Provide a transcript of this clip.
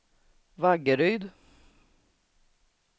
Vaggeryd